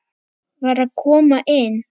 VAR AÐ KOMA INN!